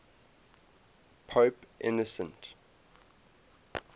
pope innocent